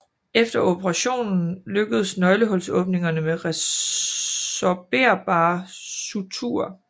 Efter operationen lukkes nøglehulsåbningerne med resorberbare suturer